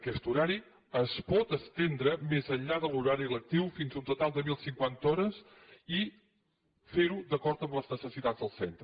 aquest horari es pot estendre més enllà de l’horari lectiu fins a un total de deu cinquanta hores i fer ho d’acord amb les necessitats del centre